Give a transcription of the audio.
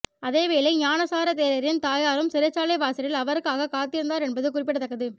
அதேவேளை ஞானசார தேரரின் தயாரும் சிறைச்சாலை வாசலில் அவருக்காக காத்திருந்தார் என்பது குறிப்பிடத்தக்கது